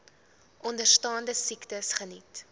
onderstaande siektes geniet